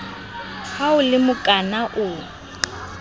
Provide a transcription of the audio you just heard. ha o le mokana o